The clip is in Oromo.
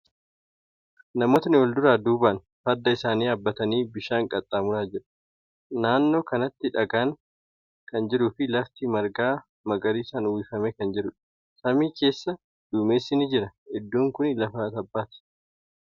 Namootni wal duraa duuban farda isaanii yaabbatanii bishaan qaxxaamuraa jiru. Naannoo kanatti dhagaan kan jiruu fi lafti marga magariisan uwwifame kan jirudha. Samii keessa duumessi ni jira. Iddoon kuni lafa tabbaati.